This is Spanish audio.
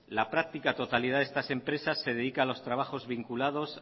la práctica totalidad de estas empresas se dedica a los trabajos vinculados